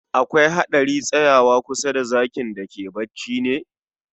Akwai hadari tsayawa kusa da zakin da ke bacci ne?